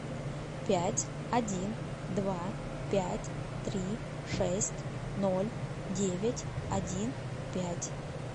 пять один два пять три шесть ноль девять один пять